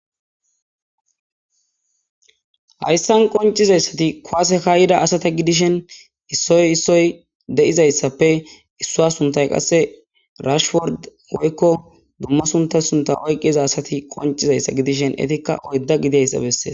hayssan qoncizayssati kowasekayida asata gidishen issoy issoy de7izayssappe issua suntay qasse rashword woykko dumma suntay sunta oyqqiza asati qoncizayssa gidishen etikka oydda gideyssa bessee